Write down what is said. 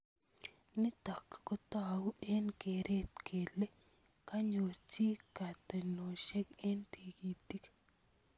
Nitok kotou eng keret kele kanyor chi kotenoshek eng tikitik.